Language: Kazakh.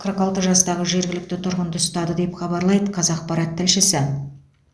қырық алты жастағы жергілікті тұрғынды ұстады деп хабарлайды қазақпарат тілшісі